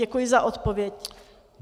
Děkuji za odpověď.